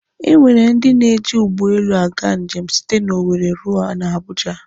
E nwere ndị na-eji ụgbọelu aga njem site na Owere ruo na Abuja.